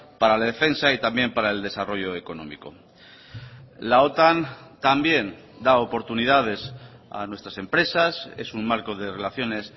para la defensa y también para el desarrollo económico la otan también da oportunidades a nuestras empresas es un marco de relaciones